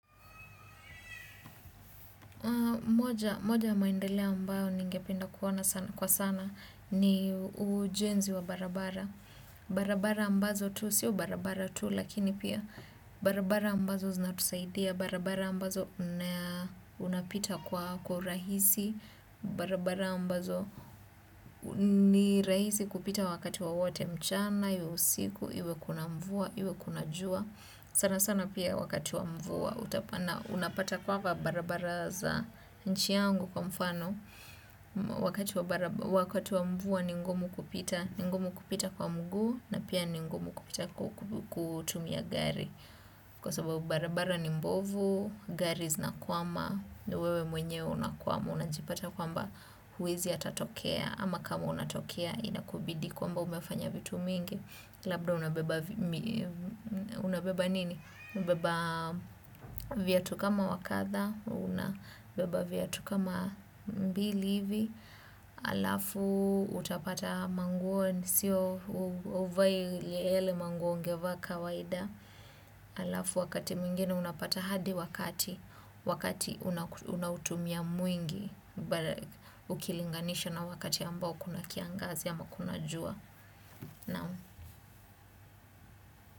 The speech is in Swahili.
Moja ya maendeleo ninayopenda kuona sana ni ujenzi wa barabara. Barabara ambazo tu sio barabara tu lakini pia barabara ambazo zinatusaidia. Barabara ambazo unapita kwa rahisi. Barabara ambazo ni rahisi kupita wakati wowote mchana, iwe usiku, iwe kuna mvua, iwe kuna jua. Sana sana pia wakati wa mvua, unapata kwa barabara za nchi yangu kwa mfano, wakati wa mvua ni ngumu kupita kwa mguu na pia ni ngumu kupita kutumia gari. Kwa sababu barabara ni mbovu, gari zinakwama, wewe mwenye unakwama, unajipata kwamba huwezi hata tokea, ama kama unatokea inakubidi kwamba umefanya vitu mingi. Labda unabeba viatu kama wa kadhaa, unabeba viatu kama mbili hivi, alafu utapata manguo, huvai yale manguo ungevaa kawaida, alafu wakati mwingine unapata hadi wakati, wakati unautumia mwingi, ukilinganisha na wakati ambao kuna kiangazi ama kuna jua.